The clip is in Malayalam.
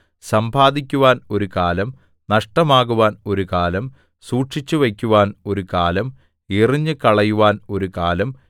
സമ്പാദിക്കുവാൻ ഒരു കാലം നഷ്ടമാകുവാൻ ഒരു കാലം സൂക്ഷിച്ചുവയ്ക്കുവാൻ ഒരു കാലം എറിഞ്ഞുകളയുവാൻ ഒരു കാലം